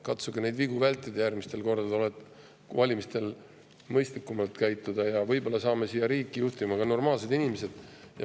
Katsuge neid vigu vältida järgmistel kordadel, valimistel mõistlikumalt käituda, ja võib-olla saame riiki juhtima ka normaalsed inimesed.